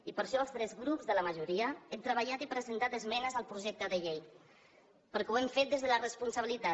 i per això els tres grups de la majoria hem treballat i presentat esmenes al projecte de llei perquè ho hem fet des de la responsabilitat